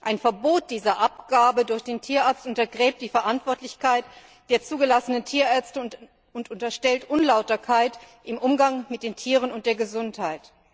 Ein Verbot dieser Abgabe durch den Tierarzt untergräbt die Verantwortlichkeit der zugelassenen Tierärzte und unterstellt Unlauterkeit im Umgang mit den Tieren und der Gesundheit.